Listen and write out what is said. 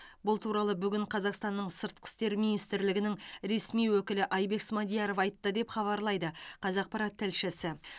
бұл туралы бүгін қазақстанның сыртқы істер министрлігінің ресми өкілі айбек смадияров айтты деп хабарлайды қазақпарат тілшісі